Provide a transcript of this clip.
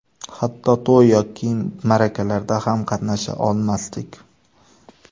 Hatto to‘y yoki ma’rakalarda ham qatnasha olmasdik.